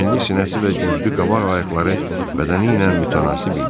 Enli sinəsi və güclü qabaq ayaqları bədəni ilə mütənasib idi.